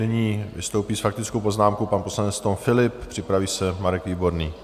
Nyní vystoupí s faktickou poznámkou pan poslanec Tom Philipp, připraví se Marek Výborný.